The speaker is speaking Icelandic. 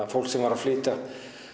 fólk sem var að flytja